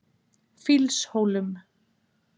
Fýlshólum